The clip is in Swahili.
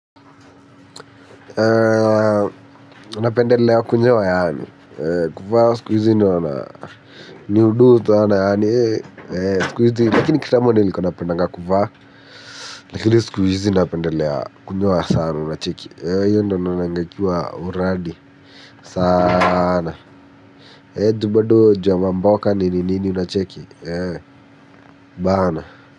Anapendelea kwenyoa yaani kuvaa skuizi na niudutu sana yaani skuizi, lakini kitamoniliko napendanga kuvaa. Lakini skuizi na pendelea kwenyewa sana na cheki Yendo na nanga ikiwa uradi Sana Edubadoo ju ya mboka nini nini na cheki. Baana.